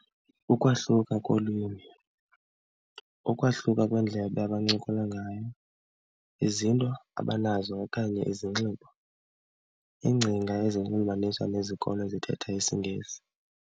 Ukwahluka kolwimi, ukwahluka kweendlela abancokolayo ngayo, izinto abanazo okanye izinxibo, iingcinga ezilinganiswa nezikolo ezithetha isiNgesi.